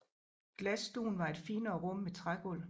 Glasstuen var et finere rum med trægulv